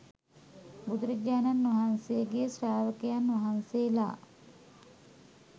බුදුරජාණන් වහන්සේගේ ශ්‍රාවකයන් වහන්සේලා